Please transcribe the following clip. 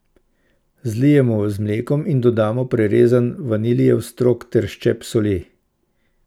Zalijemo z mlekom in dodamo prerezan vaniljev strok ter ščep soli.